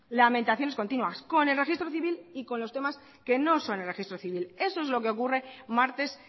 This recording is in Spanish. lamentaciones continuas con el registro civil y con los temas que no son el registro civil eso es lo que ocurre martes